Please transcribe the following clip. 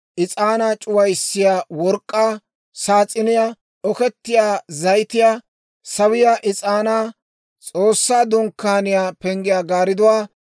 is'aanaa c'uwayiyaa work'k'aa saas'iniyaa, okettiyaa zayitiyaa, sawiyaa is'aanaa, S'oossaa Dunkkaaniyaa penggiyaa gaaridduwaa,